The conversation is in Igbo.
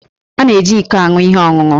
A na-eji íkó aṅụ ihe ọṅụṅụ